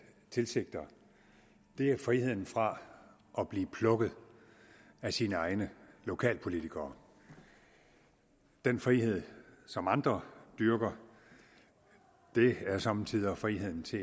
tilsigter er friheden fra at blive plukket af sine egne lokalpolitikere den frihed som andre dyrker er somme tider friheden til